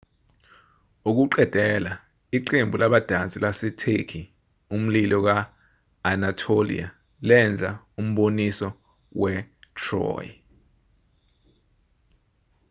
ukuqedela iqembu labadansi lasetheki umlilo ka-anatolia lenza umboniso we- troy